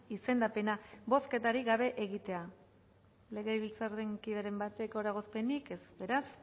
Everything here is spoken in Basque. izendapena bozketarik gabe egitea legebiltzar kideren batek eragozpenik ez beraz